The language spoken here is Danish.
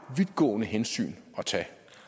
vidtgående hensyn